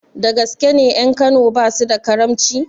Dagaske ne ƴan kano basu da karamci?